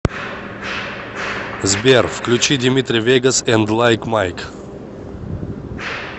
сбер включи димитри вегас энд лайк майк